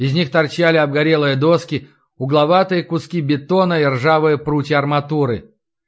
из них торчали обгорелые доски угловатые куски бетона и ржавые прутья арматуры